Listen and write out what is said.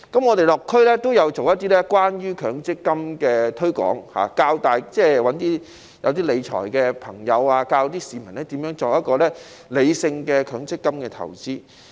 我們落區也有做一些關於強積金的推廣，找一些熟識理財的人士教市民如何作出理性的強積金投資。